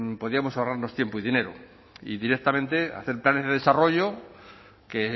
podíamos ahorrarnos tiempo y dinero y directamente hacer planes de desarrollo que